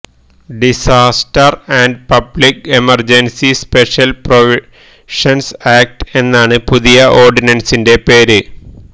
disaster and public emergency special provisions act എന്നാണ് പുതിയ ഓഡിനന്സിന്റെ പേര്